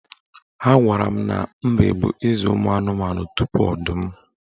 Agwara m na Mbe bụ eze ụmụanụmanụ tupu Ọdụm